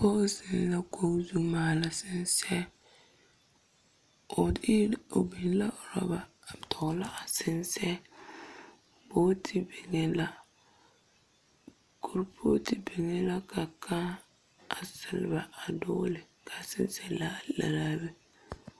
Pɔge zeŋ la kog zu maala sensɛɛ. O ir o biŋ la orɔba a dɔgelɔ a sensɛɛ. Booti biŋee la ka kãã a seleba a dogele kaa sensɛlaa laraa be.